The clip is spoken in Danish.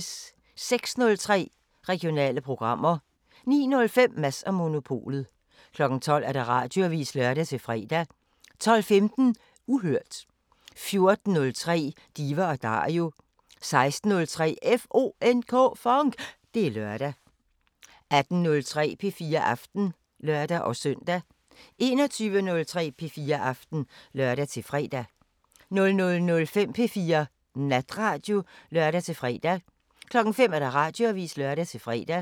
06:03: Regionale programmer 09:05: Mads & Monopolet 12:00: Radioavisen (lør-fre) 12:15: Uhørt 14:03: Diva & Dario 16:03: FONK! Det er lørdag 18:03: P4 Aften (lør-søn) 21:03: P4 Aften (lør-fre) 00:05: P4 Natradio (lør-fre) 05:00: Radioavisen (lør-fre)